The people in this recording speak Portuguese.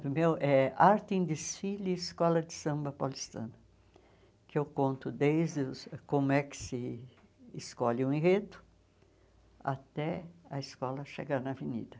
Do meu é Arte em Desfile Escola de Samba Paulistana, que eu conto desde os como é que se escolhe um enredo até a escola chegar na avenida.